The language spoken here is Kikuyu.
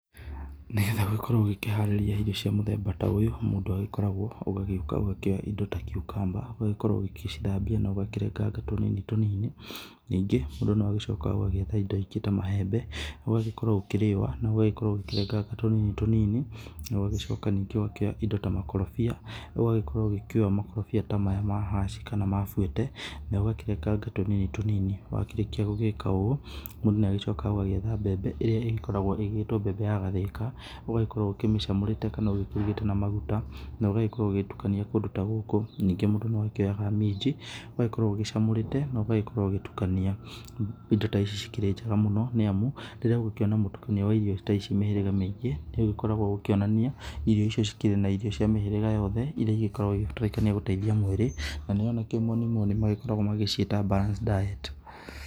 Nĩ getha ũgĩkorwo ũgĩkĩharĩria irio cia mũthemba ta ũyũ mũndũ agĩkoragwo ũgagĩũka ũgakĩoya indo ta kiukamba. Ũgakorwo ũgĩcithambia na ũgakĩrenganga tũnini tũnini, ningĩ mũndũ no agĩcokaga ũgagĩetha indo ingĩ ta maembe ũgagĩkorwo ũkĩrĩũa na ũgagĩkorwo ũgĩkĩrenganga tũnini tũnini. Na ũgagĩcoka V ũgakĩoya indo ta makorobia ũgagĩkorwo ũgĩkĩũa makorobia ta maya ma haci kana ma buete na ũgakĩrenganga tũnini tũnini. Wa kĩrĩkia gũgĩka ũũ mũndũ nĩ agĩcokaga ũgagĩetha mbembe ĩrĩa ĩgĩkoragwo ĩgĩtwo mbembe ya gathirika ũgakorwo ũkĩmĩcamũrĩte kana ũgĩkĩrugĩte na maguta, na ũgagĩkorwo ũgĩtukania kũndũ ta gũkũ. Ningĩ mũndũ no akĩoyaga minji ũgagĩkorwo ũgĩcamũrĩte na ũgagĩkorwo ũgĩtukania. Indo ta ici ikĩrĩ njega mũno nĩ amu rĩrĩa ũgũkĩona mũtukanio wa irio ta ici mĩhĩrĩga mĩingĩ nĩ ũgĩkoragwo ũgikĩonania irio icio cikĩrĩ na irio cia mĩhĩrĩga yothe iria igĩkoragwo igĩtuĩka nĩ igũteithia mwĩrĩ na nĩyo na kĩmoni moni makoragwo magĩciĩta balanced diet.